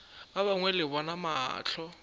ba gagwe le bona mahlo